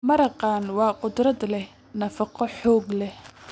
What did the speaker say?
Maraqaan waa khudrad leh nafaqo xoog leh.